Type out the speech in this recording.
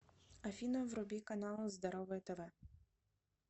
афина вруби канал здоровое тв